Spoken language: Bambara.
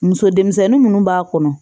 Muso denmisɛnnin minnu b'a kɔnɔ